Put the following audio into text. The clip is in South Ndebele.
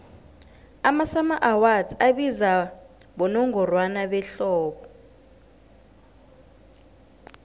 amasummer awards abizwa bonongorwana behlobo